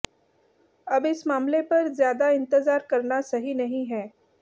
अब इस मामले पर ज्यादा इंतजार करना सही नहीं है